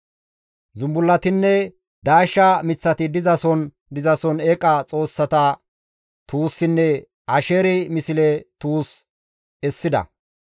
Zumbullatinne daashsha miththati dizason dizason eeqa xoossata tuussinne asheeri misle tuus essida.